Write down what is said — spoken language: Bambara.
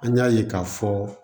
An y'a ye k'a fɔ